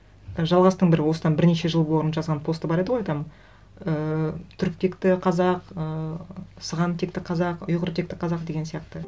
жалғастың бір осыдан бірнеше жыл бұрын жазған посты бар еді ғой там ііі түрік текті қазақ ы сыған текті қазақ ұйғыр текті қазақ деген сияқты